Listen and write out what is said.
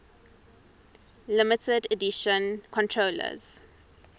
limited edition controllers